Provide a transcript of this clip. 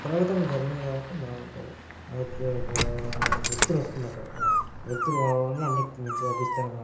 యంత్రాలతో జరిగింది కాబట్టి బాగుంటది. ఓకే ఒకా-కా వెలుతురు ఒస్తుంది .అక్కడ మంచిగా వెలుతురు రావడం వల్ల మంచి అవుపిస్తుంది.